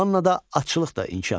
Mannada atçılıq da inkişaf etmişdi.